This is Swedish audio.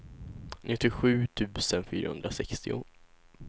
nittiosju tusen fyrahundrasextio